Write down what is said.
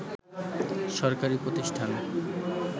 সরকারি প্রতিষ্ঠান